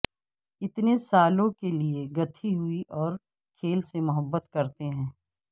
اتنے سالوں کے لئے گتھی ہوئی اور کھیل سے محبت کرتے ہیں